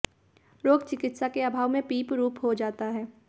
रोग चिकित्सा के अभाव में पीप रूप हो जाता है